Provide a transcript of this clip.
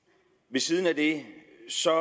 ved siden af det